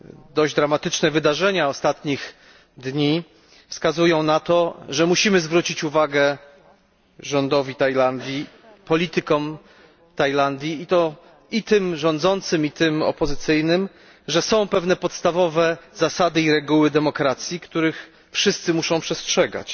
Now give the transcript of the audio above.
Dość dramatyczne wydarzenia ostatnich dni wskazują na to, że musimy zwrócić uwagę rządowi Tajlandii, politykom Tajlandii i to i tym rządzącym i tym opozycyjnym, że są pewne podstawowe zasady i reguły demokracji, których wszyscy muszą przestrzegać.